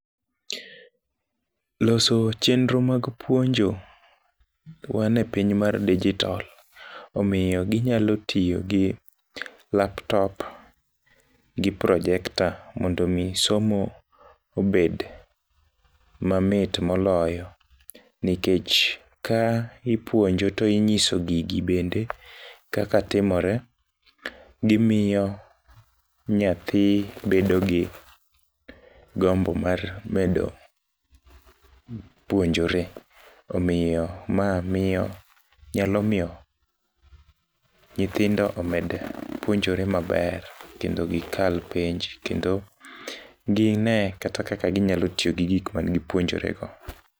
Loso chenro mag puonjo, wan e piny mar digital, omiyo ginyalo tiyo gi laptop, gi projector mondo omi somo obed mamit moloyo. Nikech ka ipuonjo to inyiso gigi bende kaka timore, gimiyo nyathi bedo gi gombo mar medo, puonjore, omiyo ma miyo, nyalo miyo nyithindo omed puonjore maber, kendo gikal penj, kendo gine kata kaka ginyalo tiyo gi gik mane gipuonjore go.